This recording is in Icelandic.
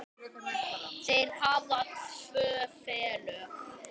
Þeir hafa tvö félög.